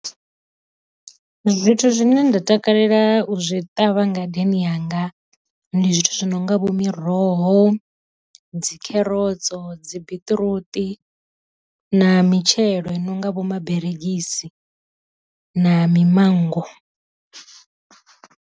Zwithu zwine nda takalela u zwi ṱavha ngadeni yanga ndi zwithu zwi no nga vho miroho, dzi kherotso dzi biṱiruṱi na mitshelo i nonga vho maberegisi na mimanngo.